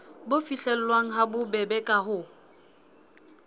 bo fihlellwang habobebe ka ho